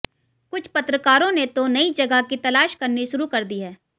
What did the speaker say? कुछ पत्रकारों ने तो नई जगह की तलाश करनी शुरू कर दी है